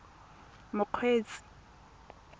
mokgweetsi